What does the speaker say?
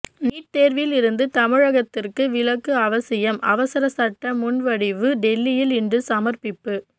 NEET தேர்வில் இருந்து தமிழகத்துக்கு விலக்கு அவசியம் அவசர சட்ட முன்வடிவு டெல்லியில் இன்று சமர்ப்பிப்பு